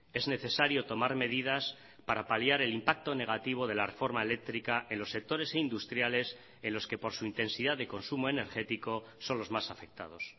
es necesario tomar medidas para paliar el impacto negativo de la reforma eléctrica en los sectores industriales en los que por su intensidad de consumo energético son los más afectados